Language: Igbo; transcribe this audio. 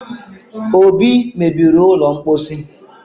obi mebiri ụlọ mposi